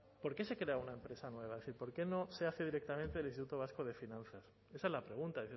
por qué se crea una empresa nueva es decir por qué no se hace directamente desde el instituto vasco de finanzas esa es la pregunta